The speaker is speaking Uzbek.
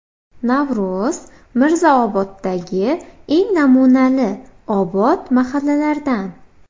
Navro‘z Mirzaoboddagi eng namunali, obod mahallalardan.